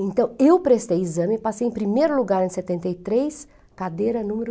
Então, eu prestei exame, passei em primeiro lugar em setenta e três, cadeira número